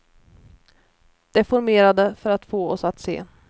Deformerade för att få oss att se.